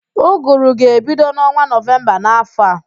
Ụgụrụ ga-ebido n'ọnwa Nọvemba n'áfọ̀ a